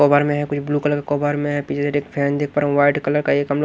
cover में है कुछ ब्लू कलर कवर में फैन देख पा रहा हूं वाइट कलर का एकअम्--